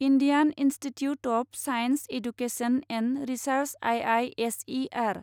Indian Institute of Science Education and Research I I S E R